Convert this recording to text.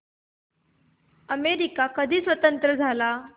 America कधी स्वतंत्र झाला